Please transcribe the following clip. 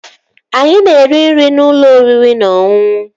Anyị na-eri nri n'ụlọ oriri na ọṅụṅụ